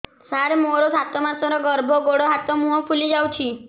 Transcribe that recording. ସାର ମୋର ସାତ ମାସର ଗର୍ଭ ଗୋଡ଼ ହାତ ମୁହଁ ଫୁଲି ଯାଉଛି